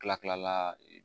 Tila kila la